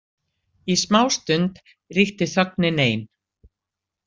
Í smástund ríkti þögnin ein.